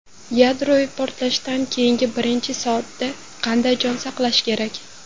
Yadroviy portlashdan keyingi birinchi soatda qanday jon saqlash kerak?.